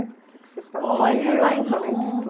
O que que vocês faziam, além de estu? Olha lá em